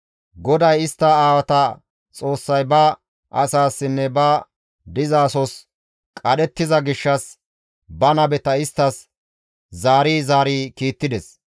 GODAY istta aawata Xoossay ba asaassinne ba dizasos qadhettiza gishshas ba nabeta isttas zaari zaari kiittides.